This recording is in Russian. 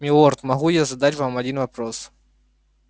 милорд могу я задать вам один вопрос